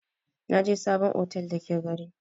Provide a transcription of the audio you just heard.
Naje sabon otel da ke gari.